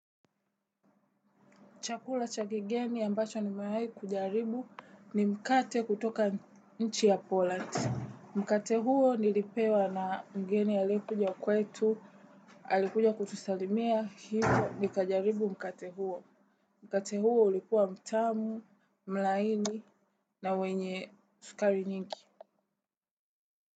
Chakula cha kigeni ambacho nimewai kujaribu ni mkate kutoka nchi ya poland. Mkate huo nilipewa na mgeni aliyekuja kwetu, alikuja kutusalimia, hivo nikajaribu mkate huo. Mkate huo ulikua mtamu, mlaini na wenye sukari nyingi.